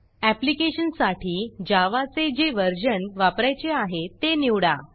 application साठी जावाचे जे व्हर्जन वापरायचे आहे ते निवडा